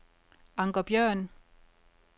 Anker Bjørn